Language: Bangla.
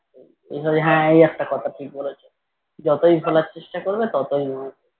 যতই ভোলার চেষ্টা করবে ততই মঙ্গল